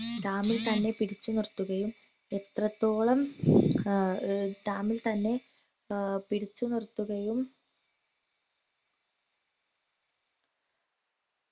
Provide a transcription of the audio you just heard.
ഡാമിൽ തന്നെ പിടിച്ചു നിർത്തുകയും എത്രത്തോളം ആഹ് ഡാമിൽത്തന്നെ ഏർ പിടിച്ചു നിർത്തുകയും